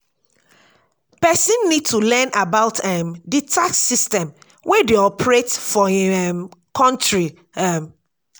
person need to learn about um di tax system wey dey operate for im um country um